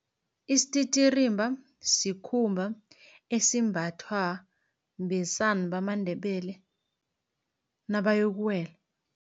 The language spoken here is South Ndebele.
Isititirimba sikhumba esimbathwa besana bamaNdebele nabayokuwela.